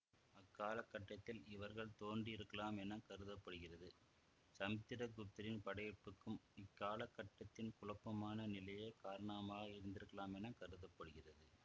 அக்கால கட்டத்தில் இவர்கள் தோன்றியிருக்கலாம் என கருத படுகிறது சமுத்திர குப்தரின் படையெடுப்புக்கும் இக்கால கட்டத்தின் குழப்பமான நிலையே காரணமாக இருந்திருக்கலாம் என கருத படுகிறது